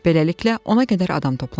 Beləliklə ona qədər adam toplandı.